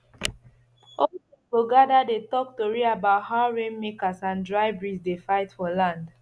old men go gather dey talk tori about how rainmakers and dry breeze dey fight for land